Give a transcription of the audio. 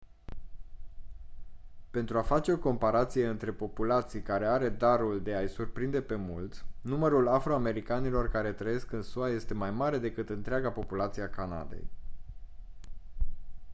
pentru a face o comparație între populații care are darul de a-i surprinde pe mulți numărul afro-americanilor care trăiesc în sua este mai mare decât întreaga populație a canadei